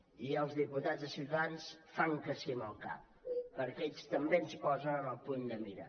i els diputats de ciutadans fan que sí amb el cap perquè ells també ens posen en el punt de mira